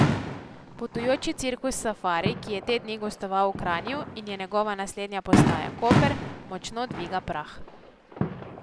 Potujoči cirkus Safari, ki je te dni gostoval v Kranju in je njegova naslednja postaja Koper, močno dviga prah.